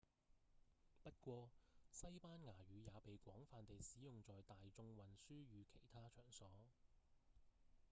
不過西班牙語也被廣泛地使用在大眾運輸與其他場所